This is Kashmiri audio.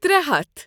ترے ہتَھ